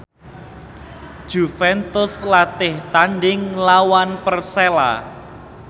Juventus latih tandhing nglawan Persela